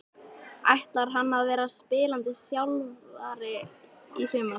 Ætlar hann að vera spilandi þjálfari í sumar?